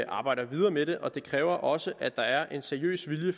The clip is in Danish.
arbejder videre med det og det kræver også at der er en seriøs vilje i